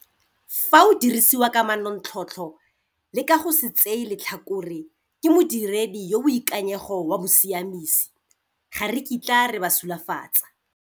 Fa o dirisiwa ka manontlhotlho le ka go se tseye letlhakore, ke modiredi yo o boikanyego wa bosiamisi. Ga re kitla re ba sulafatsa.